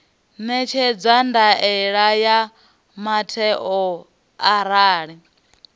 ṋekedza ndaela ya muthelo arali